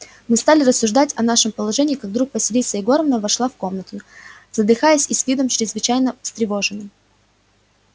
мы стали рассуждать о нашем положении как вдруг василиса егоровна вошла в комнату задыхаясь и с видом чрезвычайно встревоженным